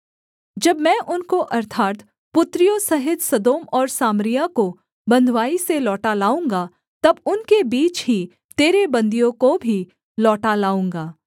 जब मैं उनको अर्थात् पुत्रियों सहित सदोम और सामरिया को बँधुआई से लौटा लाऊँगा तब उनके बीच ही तेरे बन्दियों को भी लौटा लाऊँगा